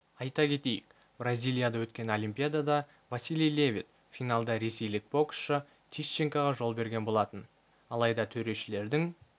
айта кетейік бразилияда өткен олимпиадада василий левит финалда ресейлік боксшы тищенкоға жол берген болатын алайда төрешілердің